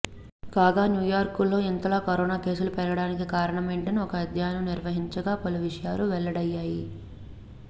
కాగా న్యూయార్క్లో ఇంతలా కరోనా కేసులు పెరిగిపోవడానికి కారణమేంటని ఒక అధ్యయనం నిర్వహించగా పలు విషయాలు వెల్లడయ్యాయి